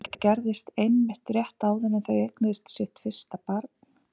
Þetta gerðist einmitt rétt áður en þau eignuðust sitt fyrsta barn.